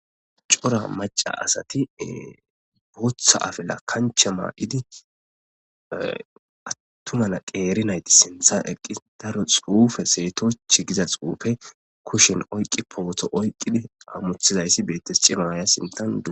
cora maca asati booththa afela kanche maa'idi attumana qeeri nayti sintha eqqi daro xuufe seetoch giza xuufe kushen oyqqi pooto oyqqidi hammuthizayssi beetes cimaya sintan du